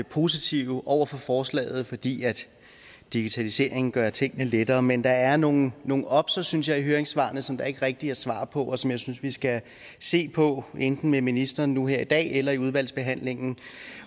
positive over for forslaget fordi digitalisering gør tingene lettere men der er nogle nogle obser synes jeg i høringssvarene som der ikke rigtig er svaret på og som jeg synes vi skal se på enten med ministeren nu her i dag eller i udvalgsbehandlingen